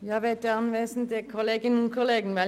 Die Antragstellerin hat das Wort.